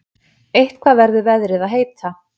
Eitthvað verður því veðrið að heita.